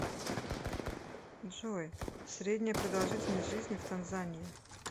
джой средняя продолжительность жизни в танзания